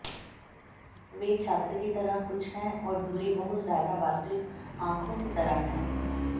वे छात्र की तरह कुछ है और दूरी बहुत ज्यादा वास्तविक आँखों की तरह है